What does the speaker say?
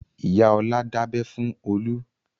Ìyá Ọlá dábẹ fún Olú.